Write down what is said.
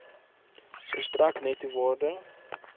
verstrek netto waarde